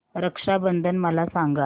रक्षा बंधन मला सांगा